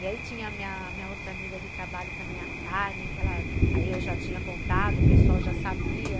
E aí tinha a minha outra amiga de trabalho também, a Carmen, que eu já tinha contado, o pessoal já sabia.